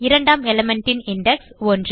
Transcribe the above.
இரண்டாம் element ன் index